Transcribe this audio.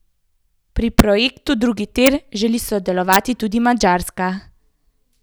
Pri projektu drugi tir želi sodelovati tudi Madžarska.